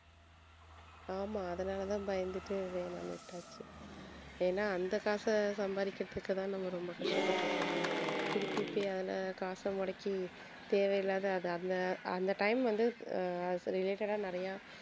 ஆமா அதனாலதான் பயந்துட்டு வேணாம் விட்டாச்சு ஏன்னா அந்த காசை சம்பாதிக்கறதுக்குத்தான் நம்ம ரொம்ப கஷ்டப்பட்டுட்டு இருக்கோம் திருப்பி போய் அந்த காச முடக்கி தேவையில்லாத அந்த அந்த time வந்து ஆஹ் as a related டா நிறையா